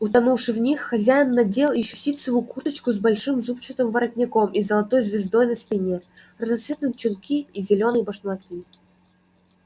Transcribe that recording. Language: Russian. утонувши в них хозяин надел ещё ситцевую курточку с большим зубчатым воротником и золотой звёздой на спине разноцветные чулки и зелёные башмаки